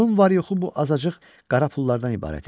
Onun var-yoxu bu azacıq qara pullardan ibarət idi.